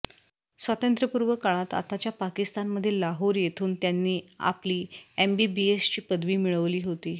स्वातंत्र्यपूर्व काळात आताच्या पाकिस्तानमधील लाहौर येथून त्यांनी आपली एमबीबीएसची पदवी मिळवली होती